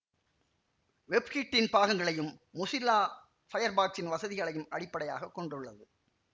WebKit இன் பாகங்களையும் Mozilla பயர்பாக்சின் வசதிகளையும் அடிப்படையாக கொண்டுள்ளது